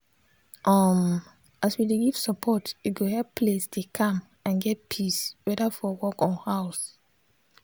um as we dey give support e go help place dey calm and get peace whether for work or house.